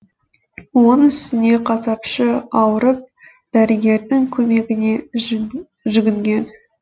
оның үстіне қасапшы ауырып дәрігердің көмегіне жүгінген